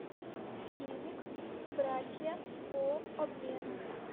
фильмик братья по обмену